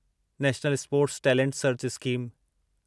national sports talent search scheme